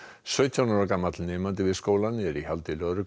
sautján ára gamall nemendi við skólann er í haldi lögreglu